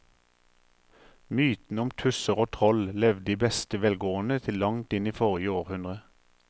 Mytene om tusser og troll levde i beste velgående til langt inn i forrige århundre.